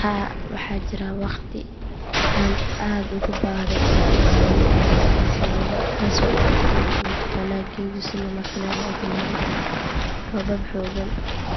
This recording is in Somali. Haa waxaa jiray waqti aan aad uga baahday in aan caawimo ka helo bulshadayda taasoo ahayd xilli uu dalaggaygu si lama filaan ah u xumaaday. Roobab xooggan